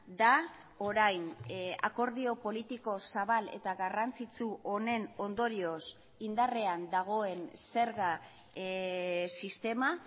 da orain akordio politiko zabal eta garrantzitsu honen ondorioz indarrean dagoen zerga sistema